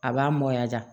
A b'a mɔ ja